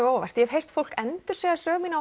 á óvart ég hef heyrt fólk endursegja sögu mína á